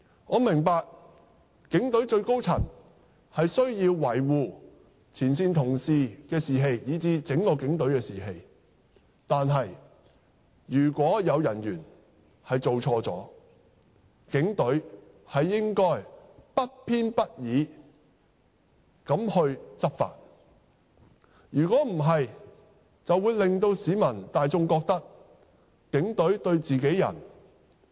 我明白警隊最高層需要維護前線同事的士氣，以至警隊整體的士氣；但是，如果有人員犯錯，警隊應該不偏不倚地執法，否則便會令市民大眾覺得警隊偏袒自己人。